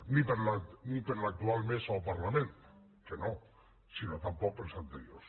ni per l’actual mesa del parlament que no sinó tampoc per les anteriors